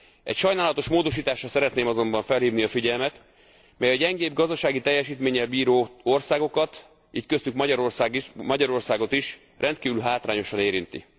Egy sajnálatos módosításra szeretném azonban felhívni a figyelmet, mely a gyengébb gazdasági teljesítménnyel bíró országokat így köztük Magyarországot is rendkívül hátrányosan érinti.